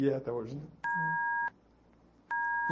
E é até hoje, né? Hum.